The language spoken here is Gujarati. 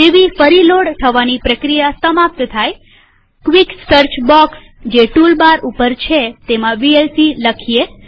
જેવી ફરી લોડ થવાની પ્રક્રિયા સમાપ્ત થાયક્વિક સર્ચ બોક્સ જે ટૂલ બાર ઉપર છે તેમાં વીએલસી લખીએ